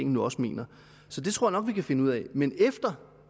nu også mener så det tror vi kan finde ud af men efter